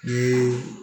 Ni